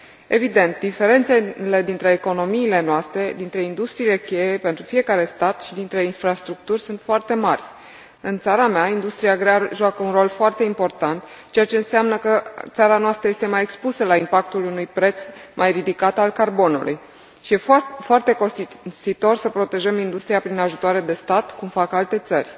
Evident, diferențele dintre economiile noastre, dintre industriile cheie pentru fiecare stat și dintre infrastructuri sunt foarte mari. În țara mea, industria grea joacă un rol foarte important, ceea ce înseamnă că țara noastră este mai expusă la impactul unui preț mai ridicat al carbonului și e foarte costisitor să protejăm industria prin ajutoare de stat, cum fac alte țări.